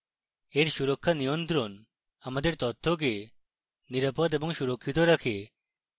এর সুরক্ষা নিয়ন্ত্রণ আমাদের তথ্যকে নিরাপদ এবং সুরক্ষিত রাখে